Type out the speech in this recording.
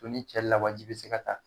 Ko ni cɛ lawaji bi se ka taa